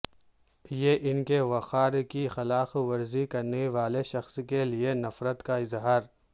یہ ان کے وقار کی خلاف ورزی کرنے والے شخص کے لئے نفرت کا اظہار